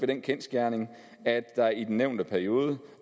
den kendsgerning at der i den nævnte periode